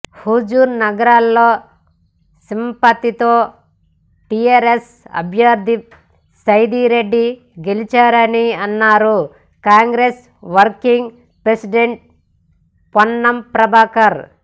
హుజూర్ నగర్లో సింపతితో టీఆర్ఎస్ అభ్యర్థి సైదిరెడ్డి గెలిచారని అన్నారు కాంగ్రెెస్ వర్కింగ్ ప్రెసిడెంట్ పొన్నం ప్రభాకర్